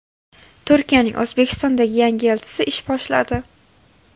Turkiyaning O‘zbekistondagi yangi elchisi ish boshladi.